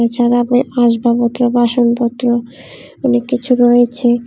এছাড়া আপনার আসবাপত্র বাসনপত্র অনেক কিছু রয়েছে।